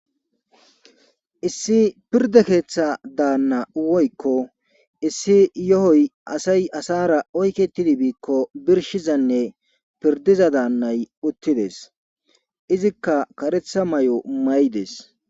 issi pirda keeththa daanna woykko issi yo7oy asay asara oyke tidi biikko birshizanne pirdiza daannay uttides izikka karetha may7o may7des